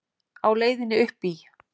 Á leiðinni uppí